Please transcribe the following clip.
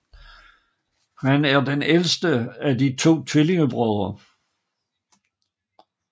Han er den ældste af de to tvillingebrødre